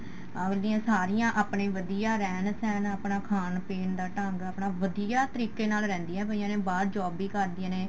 ਅਗਲੀਆਂ ਸਾਰੀਆਂ ਆਪਣੇ ਵਧੀਆ ਰਹਿਣ ਸਹਿਣ ਆਪਣਾ ਖਾਣ ਪੀਣ ਦਾ ਢੰਗ ਆਪਣਾ ਵਧੀਆ ਤਰੀਕੇ ਨਾਲ ਰਹਿੰਦੀਆਂ ਪਈਆਂ ਨੇ ਬਾਹਰ job ਵੀ ਕਰਦੀਆਂ ਨੇ